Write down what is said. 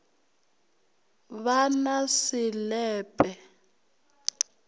ba na se le pe